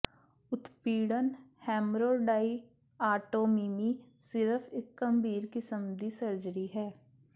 ਉਤਪੀੜਨ haemorrhoidectomy ਸਿਰਫ ਇਕ ਗੰਭੀਰ ਕਿਸਮ ਦੀ ਸਰਜਰੀ ਹੈ